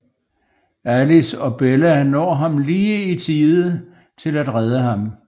Alice og Bella når ham lige i tide til at redde ham